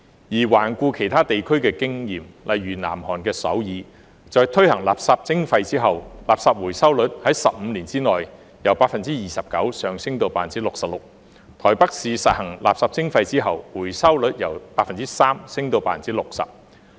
而環顧其他地區的經驗，例如南韓的首爾，在推行垃圾徵費後，垃圾回收率在15年內由 29% 上升至 66%； 台北市實施垃圾徵費後，回收率由 3% 上升至 60%。